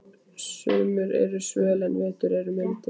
Sumur eru svöl en vetur mildir.